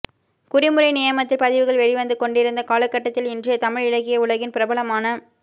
குறிமுறை நியமத்தில் பதிவுகள் வெளிவந்து கொண்டிருந்த காலகட்டத்தில் இன்றைய தமிழ் இலக்கிய உலகின் பிரபலமான